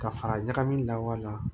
Ka fara ɲagami lawa la